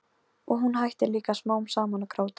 Og hún hættir líka smám saman að gráta.